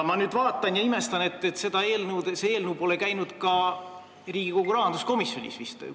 Ma imestangi, et eelnõu pole Riigikogu rahanduskomisjonis vist arutusel olnud.